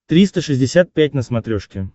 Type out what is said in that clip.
триста шестьдесят пять на смотрешке